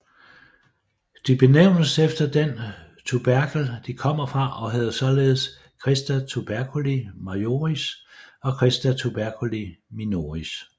De benævnes efter den tuberkel de kommer fra og hedder således crista tuberculi majoris og crista tuberculi minoris